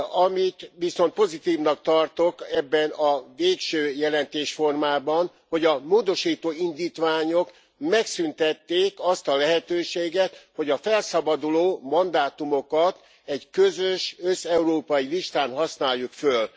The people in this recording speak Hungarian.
Amit viszont pozitívnak tartok ebben a végső jelentésformában, hogy a módosító indítványok megszűntették azt a lehetőséget, hogy a felszabaduló mandátumokat egy közös, összeurópai listán használjuk föl.